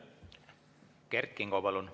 Kert Kingo, palun!